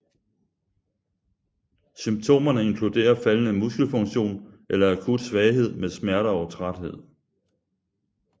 Symptomerne inkluderer faldende muskelfunktion eller akut svaghed med smerter og træthed